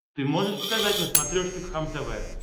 ты можешь показать на смотрешке кхлм тв